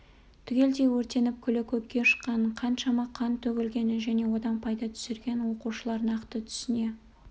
түгелдей өртеніп күлі көкке ұшқанын қаншама қан төгілгенін және одан пайда түсіргенін оқушылар нақты түсіне